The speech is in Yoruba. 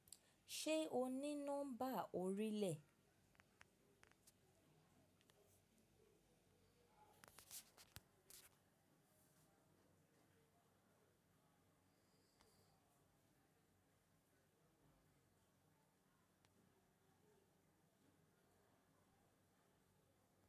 Ṣé o ní nọ́mbà orílẹ̀?